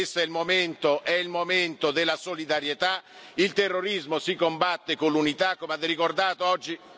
Questo è il momento della solidarietà il terrorismo si combatte con l'unità, come avete ricordato oggi.